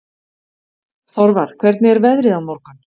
Þorvar, hvernig er veðrið á morgun?